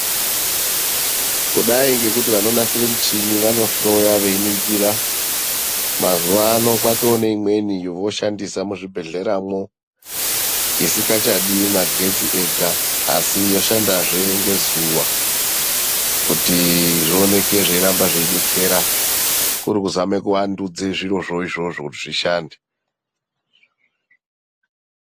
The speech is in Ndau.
Kudai ngekuti vanonasire michini vanohloya veiningira. Mazuva ano kwatoneimweni yovoshandisa muzvibhehleramwo isikachadi magetsi ega asiyoshandazve ngezuwa kuti zvioneke zveiramba zveidetsera kuri kuzame kuvandudze zvirozvo izvozvo kuti zvishande.